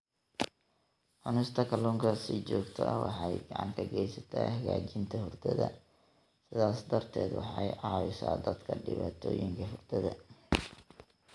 Cunista kalluunka si joogto ah waxay gacan ka geysataa hagaajinta hurdada, sidaas darteed waxay caawisaa dadka dhibaatooyinka hurdada.